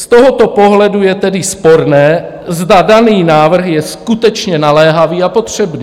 Z tohoto pohledu je tedy sporné, zda daný návrh je skutečně naléhavý a potřebný.